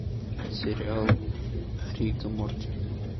сериал рик и морти